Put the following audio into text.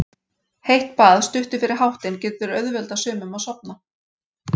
Heitt bað stuttu fyrir háttinn getur auðveldað sumum að sofna.